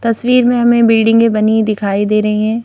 तस्वीर में हमें बिल्डिंगे में बनी दिखाई दे रही हैं।